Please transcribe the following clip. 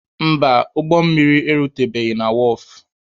Mba, ụgbọ mmiri erutebeghi na wọọfụ.